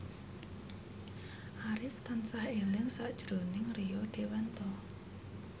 Arif tansah eling sakjroning Rio Dewanto